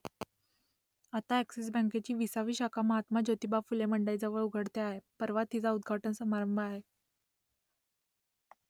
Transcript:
आता अ‍ॅक्सिस बँकेची विसावी शाखा महात्मा ज्योतिबा फुले मंडईजवळ उघडते आहे परवा तिचा उद्घाटन समारंभ आहे